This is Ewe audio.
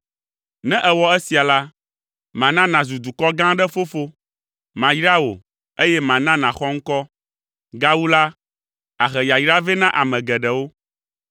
Ne èwɔ esia la, mana nàzu dukɔ gã aɖe fofo. Mayra wò, eye mana nàxɔ ŋkɔ. Gawu la, àhe yayra vɛ na ame geɖewo.